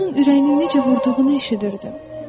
Mən onun ürəyinin necə vurduğunu eşidirdim.